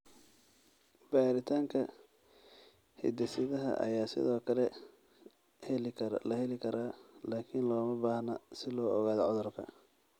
Baaritaanka hidde-sidaha ayaa sidoo kale la heli karaa, laakiin looma baahna si loo ogaado cudurka.